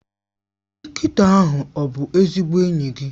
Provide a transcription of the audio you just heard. Nkịta ahụ ọ bụ ezigbo enyi gị?